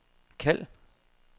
kald